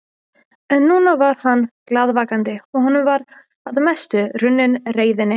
En núna var hann glaðvakandi og honum var að mestu runnin reiðin.